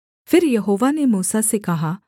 फिर यहोवा ने मूसा से कहा